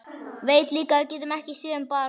Veit líka að við getum ekki séð um barn.